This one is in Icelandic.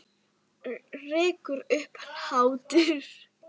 Og rekur upp hlátur.